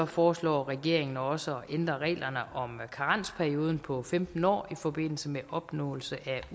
foreslår regeringen også at ændre reglerne om karensperioden på femten år i forbindelse med opnåelse